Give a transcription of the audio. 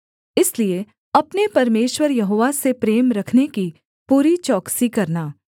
इसलिए अपने परमेश्वर यहोवा से प्रेम रखने की पूरी चौकसी करना